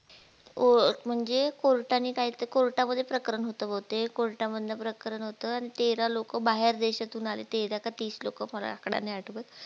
ओ म्हणजे ते court नी काय ते court मध्ये प्रकरण होते अन तेरा लोक बाहेर देशातून आले तेरा का तीस लोक मला नाही आठवत.